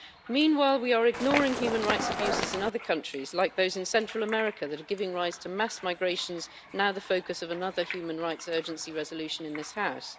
Meanwhile, we are ignoring human rights abuses in other countries, like those in Central America, that are giving rise to mass migrations now the focus of another human rights urgency resolution in this House.